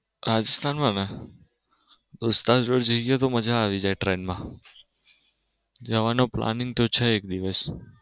દોસ્તારો જોડે જઈએ તો મજા આવી જાય train માં. જવાનો planning તો છે એક દિવસ.